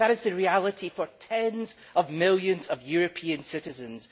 That is the reality for tens of millions of European citizens.